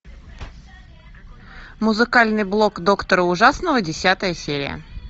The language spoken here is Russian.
музыкальный блог доктора ужасного десятая серия